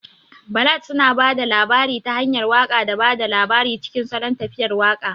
Ballad suna ba da labari ta hanyar waƙa da ba da labari cikin salon tafiyar waƙa.